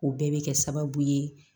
O bɛɛ bɛ kɛ sababu ye